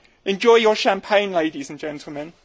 Enjoy your champagne, ladies and gentlemen.